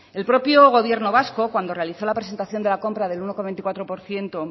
el propio gobierno vasco cuando realizó la presentación de la compra del uno coma veinticuatro por ciento